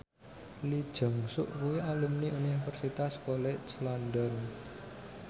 Lee Jeong Suk kuwi alumni Universitas College London